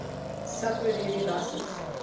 suffered heavy losses